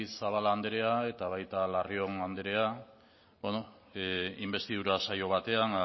zabala anderea eta baita larrion anderea inbestidura saio batean